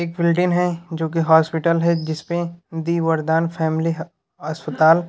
एक बिल्डिंग है जो की हॉस्पिटल है जिसपे दी वरदान फॅमिली अस्पताल --